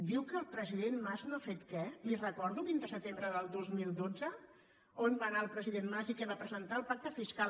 diu que el president mas no ha fet què li recordo el vint de setembre del dos mil dotze on va anar el president mas i què va presentar el pacte fiscal